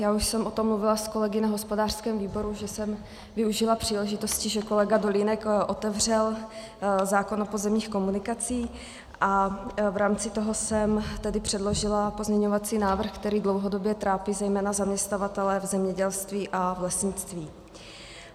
Já už jsem o tom mluvila s kolegy na hospodářském výboru, že jsem využila příležitosti, že kolega Dolínek otevřel zákon o pozemních komunikacích, a v rámci toho jsem tedy předložila pozměňovací návrh, který dlouhodobě trápí zejména zaměstnavatele v zemědělství a v lesnictví.